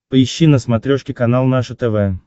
поищи на смотрешке канал наше тв